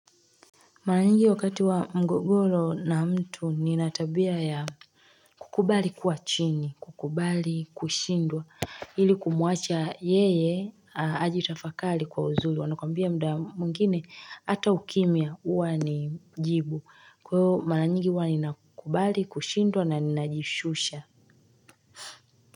Maranyingi wakati wa mgogoro na mtu ninatabia ya kukubali kuwa chini, kukubali, kushindwa, ili kumuacha yeye ajitafakali kwa uzuri, wanakwambia mda mwingine, hata ukimia huwa ni jibu, kwa iyo maranyingi huwanina kukubali, kushindwa na ninajishusha.